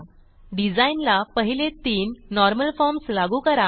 डिझाईनला पहिले तीन normal forms लागू करा